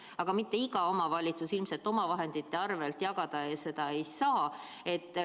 Aga mitte iga omavalitsus ilmselt omavahendite arvelt jagada seda ei saa.